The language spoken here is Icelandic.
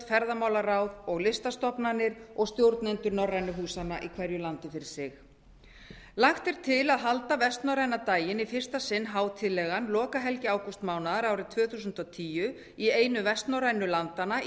ferðamálaráð og listastofnanir og stjórnendur norrænu húsanna í hverju landi fyrir sig lagt er til að halda vestnorræna daginn í fyrsta sinn hátíðlegan lokahelgi ágústmánaðar árið tvö þúsund og tíu í einu vestnorrænu landanna í